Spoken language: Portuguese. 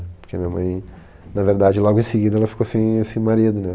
Porque minha mãe, na verdade, logo em seguida, ela ficou sem esse marido, né?